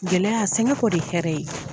Gɛlɛya sɛngɛ kɔ de ye hɛrɛ ye.